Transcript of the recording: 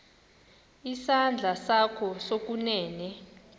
isandla sakho sokunene